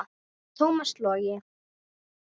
Tómas Logi.